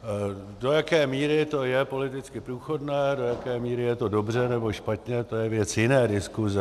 Do jaké míry to je politicky průchodné, do jaké míry je to dobře nebo špatně, to je věc jiné diskuse.